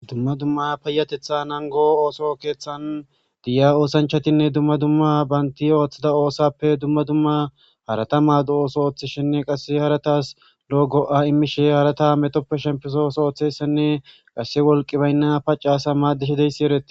Dumma dumma payatetha nango ooso keeththan diya oosanchatinne dumma dumma baynti ooththida oosappe dumma dumma harata maado'os ooththishenne qasse haratas lo'o go'a immishe harata metoppe shempesos ooththessenne qasse wolqi baynna paccaasa maaddishedeysi ereti.